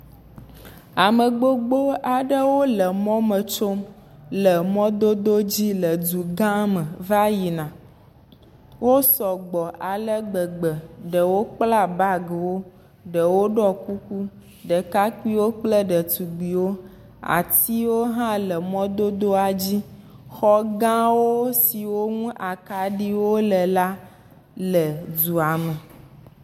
Ame gbogbo aɖewo le mɔmɔ me tsom le mɔdodo dzi le dugã me va yina wo sɔ gbɔ ale gbegbe ɖewo kpla bagiwo ɖewo ɖɔ kuku ɖekakpuiwo kple ɖetugbuiwo atiwo ha le mɔdodoa dzi xɔgawo siwo nu akaɖiwo le la le dua me